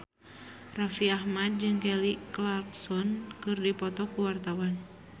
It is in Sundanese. Raffi Ahmad jeung Kelly Clarkson keur dipoto ku wartawan